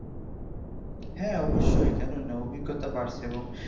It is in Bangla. হ্যাঁ অবশ্যই কেন না অভিজ্ঞতা বাড়ছে এবং